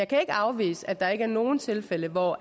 kan ikke afvise at der ikke er nogen tilfælde hvor